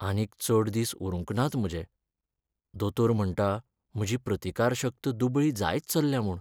आनीक चड दीस उरूंक नात म्हजे. दोतोर म्हण्टा म्हजी प्रतिकारशक्त दुबळी जायत चल्ल्या म्हूण.